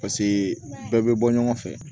Paseke bɛɛ bɛ bɔ ɲɔgɔn fɛ